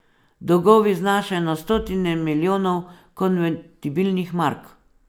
Dolgovi znašajo na stotine milijonov konvertibilnih mark.